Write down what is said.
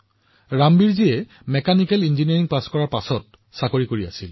ৰামবীৰজীয়ে mechanical engineering অধ্যয়ন কৰাৰ পিছত চাকৰি কৰি আছিল